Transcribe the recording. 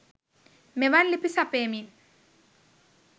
මෙවන් ලිපි සපයමින්